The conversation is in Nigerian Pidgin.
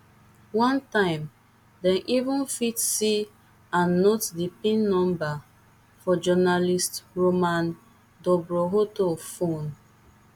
one time dem even fit see and note di pin number for journalist roman dobrokhotov phone